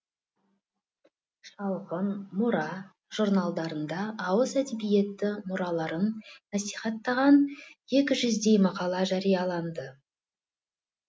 шалғын мұра журналдарында ауыз әдебиеті мұраларын насихаттаған екі жүздей мақала жарияланды